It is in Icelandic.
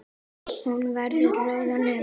Hún verður rauð á nefinu.